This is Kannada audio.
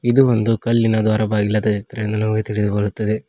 ಇದು ಒಂದು ಕಲ್ಲಿನ ದ್ವಾರ ಬಾಗಿಲದೆ ಎಂದು ನಮಗೆ ತಿಳಿದು ಬರುತ್ತದೆ.